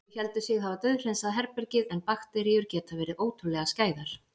Þau héldu sig hafa dauðhreinsað herbergið- en bakteríur geta verið ótrúlega skæðar.